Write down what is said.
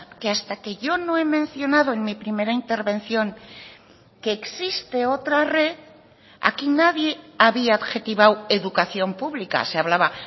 que hasta que yo no he mencionado en mi primera intervención que existe otra red aquí nadie había adjetivado educación pública se hablaba